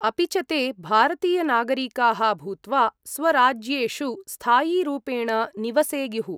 अपि च ते भारतीयनागरिकाः भूत्वा स्वराज्येषु स्थायीरूपेण निवसेयुः।